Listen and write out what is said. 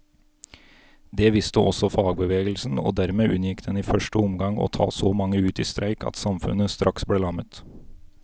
Det visste også fagbevegelsen, og dermed unngikk den i første omgang å ta så mange ut i streik at samfunnet straks ble lammet.